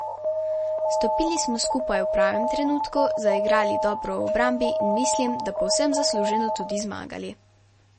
Stopili smo skupaj v pravem trenutku, zaigrali dobro v obrambi in mislim, da povsem zasluženo tudi zmagali.